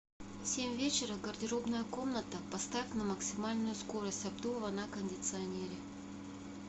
в семь вечера гардеробная комната поставь на максимальную скорость обдува на кондиционере